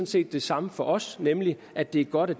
set det samme for os nemlig at det er godt at